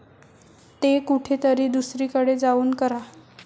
ते कुठेतरी दुसरीकडे जाऊन करा.